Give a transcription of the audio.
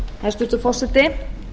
hæstvirtur forseti